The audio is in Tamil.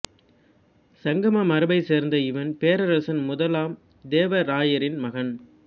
சங்கம மரபைச் சேர்ந்த இவன் பேரரசன் முதலாம் தேவ ராயனின் மகன்